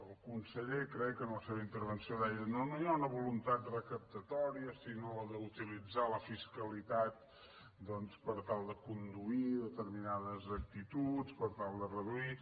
el conseller crec en la seva intervenció deia no no hi ha una voluntat re·captatòria sinó d’utilitzar la fiscalitat doncs per tal de conduir determinades actituds per tal de reduir